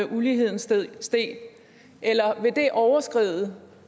uligheden steg eller vil det overskride